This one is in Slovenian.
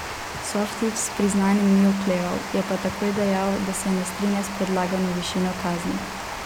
Softić s priznanjem ni okleval, je pa takoj dejal, da se ne strinja s predlagano višino kazni.